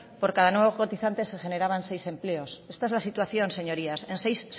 por cada nuevo cotizante se generaban seis empleos esta es la situación señorías en seis